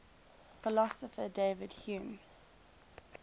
philosopher david hume